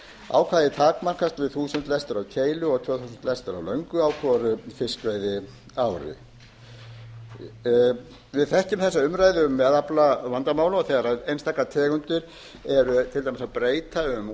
ákvæðið takmarkast við þúsund lestir á keilu og tvö þúsund lestir af löngu á hvoru fiskveiðiári við þekkjum þessa umræðu um meðaflavandamál þegar einstakar tegundir eru til dæmis að breyta um